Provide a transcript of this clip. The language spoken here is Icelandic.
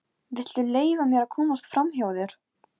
Af hverju ertu svona þrjóskur, Edil?